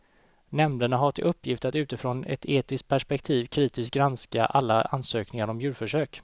Nämnderna har till uppgift att utifrån ett etiskt perspektiv kritiskt granska alla ansökningar om djurförsök.